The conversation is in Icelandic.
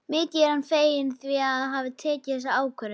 Mikið er hann feginn því að hafa tekið þessa ákvörðun.